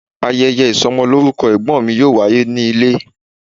Ayeye isomoloruko egbon mi yoo waye ni ile